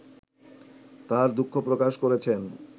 তার দুঃখ প্রকাশ করেছেন